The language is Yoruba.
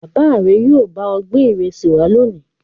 Bàbá rẹ yóò bá ọ gbé ìrẹsì wá lónìí.